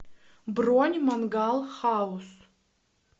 бронь мангал хаус